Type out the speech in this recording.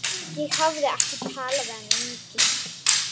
Ég hafði ekki talað við hann lengi.